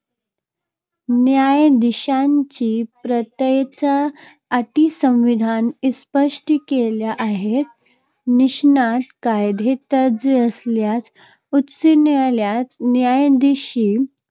न्यायाधीशांच्या पात्रतेच्या अटी संविधान स्पष्ट केल्या आहेत. निष्णात कायदेतज्ज्ञ असलेल्या, उच्च न्यायालयात न्यायाधीश